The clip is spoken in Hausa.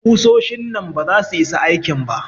Ƙusoshin nan baza su isa aikin ba.